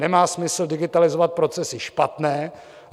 Nemá smysl digitalizovat procesy špatné.